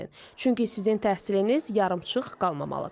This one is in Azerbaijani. Çünki sizin təhsiliniz yarımçıq qalmamalıdır.